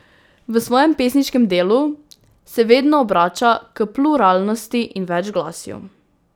V svojem pesniškem delu se vedno obrača k pluralnosti in večglasju.